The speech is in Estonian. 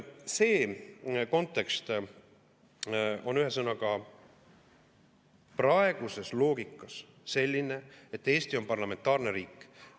See kontekst on ühesõnaga praeguses loogikas selline, et Eesti on parlamentaarne riik.